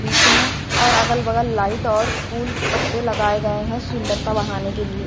बीच में और अगलबगल लाइट और फूल पत्ते लगाए गए हैं सुंदरता बढ़ाने के लिए।